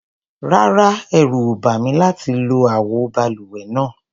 Rárá, ẹ̀rù ò bà mí láti lo àwo balùwẹ̀ náà.